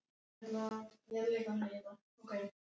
Án þess að nokkur skildi hvers vegna.